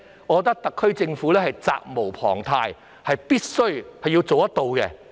我認為特區政府責無旁貸，必須監察他們。